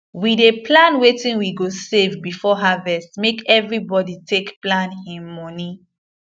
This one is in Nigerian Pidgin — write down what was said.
we dey plan wetin we go save before harvest make evribody take plan hin mony